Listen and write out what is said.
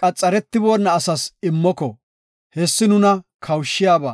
qaxaretiboona asas immoko, hessi nuna kawushiyaba.